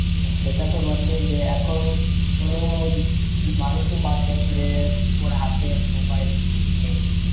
সেটাত বটেই যে এখন কোন মানুষই বাদ দেয়নি যে ওর হাতে mobile নেই।